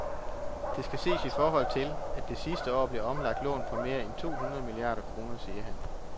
Det skal ses i forhold til, at der sidste år blev omlagt lån for mere end to hundrede milliarder kroner, siger han.